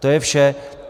To je vše.